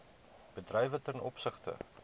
bedrywe ten opsigte